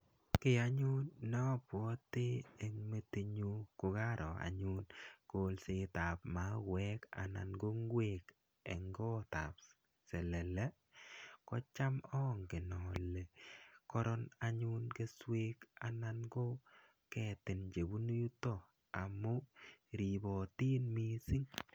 Kiy anyun ne abwoti eng metinyu kokaro anyun kolsetab mauwek anan ko ngwek eng gotab selele, kocham angen ale koron anyun keswek anan ko ketin chebunu yuto amu ribotin mising.